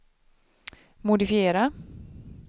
modifiera